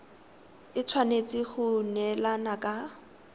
e tshwanetse go neelana ka